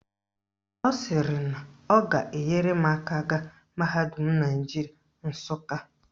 Ọ sịrị na ọ ga-enyere m aka gaa mahadum Naijiria Nsụka